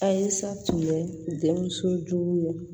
Ayisa tun bɛ denmuso jugu ye